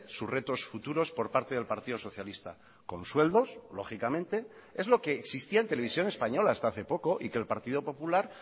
sus retos futuros por parte del partido socialista con sueldos lógicamente es lo que existía en televisión española hasta hace poco y que el partido popular